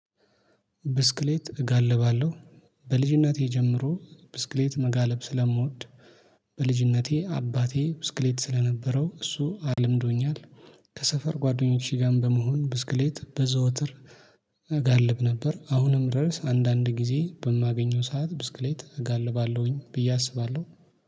ብስክሌት እጋልባለሁ በልጅነቴ ጀምሮ ብስክሌት መጋለብ ስለምወድ በልጅነቴ አባቴ ብስክሌት ስለነበረው እሱ አልምዶኛል። ከሰፈር ጓደኞቼ ጋርም በመሆን ብስክሌት በዘወትር እጋልብ ነበር። አሁንም ርዕስ አንዳንድ ጊዜ በማገኘው ሰዓት ብስክሌት እጋልባለሁኝ ብዬ አስባለሁ